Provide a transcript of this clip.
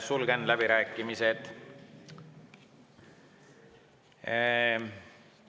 Sulgen läbirääkimised.